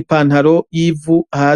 ipantaro yivu hasi